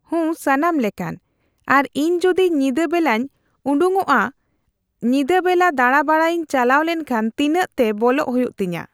ᱦᱩᱸ ᱥᱟᱱᱟᱢ ᱞᱮᱠᱟᱱ , ᱟᱨ ᱤᱧ ᱡᱩᱫᱤ ᱧᱤᱫᱟᱹ ᱵᱮᱞᱟᱧ ᱩᱰᱩᱝᱚᱜᱼᱟᱹᱧ, ᱧᱤᱫᱟᱹ ᱵᱮᱞᱟ ᱫᱟᱬᱟᱼᱵᱟᱲᱟᱭᱤᱧ ᱪᱟᱞᱟᱣ ᱞᱮᱱᱠᱷᱟᱱ ᱛᱤᱱᱟᱹᱜ ᱛᱮ ᱵᱚᱞᱚᱜ ᱦᱩᱭᱩᱜ ᱛᱤᱧᱟ?